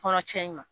Kɔnɔ cɛn in ma